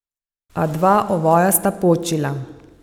A dva ovoja sta počila.